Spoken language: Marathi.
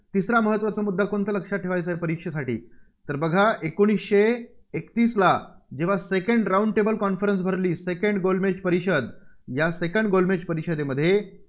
तिसरा महत्त्वाचा मुद्दा कोणता लक्षात ठेवायाचा आहे, परीक्षेसाठी? तर बघा एकोणीसशे एकतीसला जेव्हा round table conference भरली, Second गोलमेज परिषद. या second गोलमेज परिषदेमध्ये